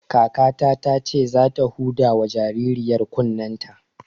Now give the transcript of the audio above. Kakata ce za ta huda wa jaririyar kunnen ta